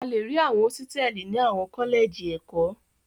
A le rí àwọn hósítẹ́ẹ́lì ní àwọn kọ́lẹ́jì ẹ̀kọ́.